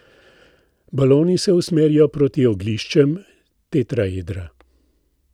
Baloni se usmerijo proti ogliščem tetraedra.